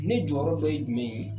Ne jɔyɔrɔ dɔ ye jumɛn ye ?